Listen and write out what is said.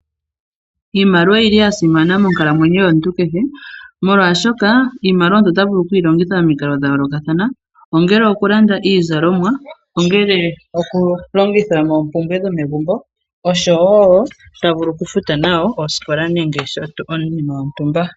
Iimaliwa oyili ya simana monkalamwenyo yomuntu kehe molwashoka iimaliwa ota vulu okuyi longitha momikalo dha yoolokathana. Ongele okulanda iizalomwa ongelee okulongitha moompumbwee dhomegumbo osho wo ta vulu okufuta oskola nenge iinima yontumba.